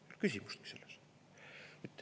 Pole küsimustki selles.